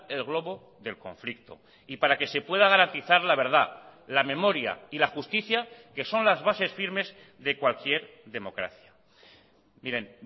el globo del conflicto y para que se pueda garantizar la verdad la memoria y la justicia que son las bases firmes de cualquier democracia miren